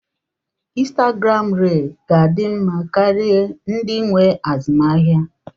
Instagram riil ga-adị mma karịa ndị nwe azụmaahịa.